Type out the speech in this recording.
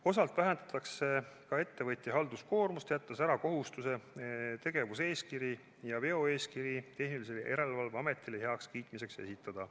Osalt vähendatakse ka ettevõtja halduskoormust, jättes ära kohustuse tegevuseeskiri ja veoeeskiri tehnilise järelevalve ametile heakskiitmiseks esitada.